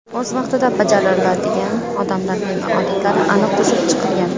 O‘z vaqtida bajaradigan odamlarning odatlari aniq tuzib chiqilgan.